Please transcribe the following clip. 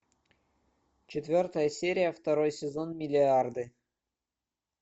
четвертая серия второй сезон миллиарды